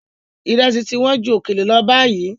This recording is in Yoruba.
Ìrẹsì ti wọ́n ju òkèlè lọ báyìí.